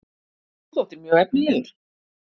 Þú þóttir mjög efnilegur?